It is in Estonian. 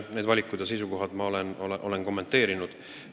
Neid valikuid ja seisukohti ma olen kommenteerinud.